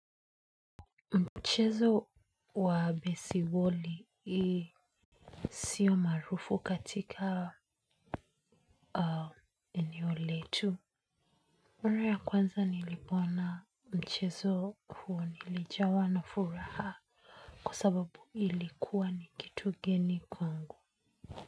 Mchezo wa besiboli sio maarufu katika eneo letu. Maraa ya kwanza nilipoona mchezo huo nilijawa na furaha kwa sababu ilikuwa ni kitu geni kwangu.